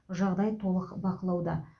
жағдай толық бақылауда